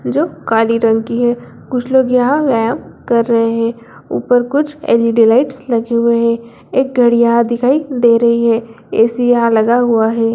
जो काली रंग की है कुछ लोग यहां व्यायाम कर रहे है ऊपर कुछ एल.ई.डी. लाइट्स लगे हुए है एक घड़ी यहाँ दिखाई दे रही है ए.सी. यहां लगा हुआ है।